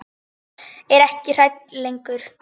Er ekki hrædd lengur.